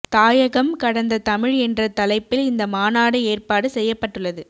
தாயகம் கடந்த தமிழ் என்ற தலைப்பில் இந்த மாநாடு ஏற்பாடு செய்யப்பட்டுள்ளது